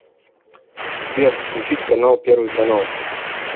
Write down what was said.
сбер включить канал первый канал